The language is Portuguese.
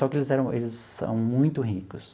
Só que eles eram eles são muito ricos.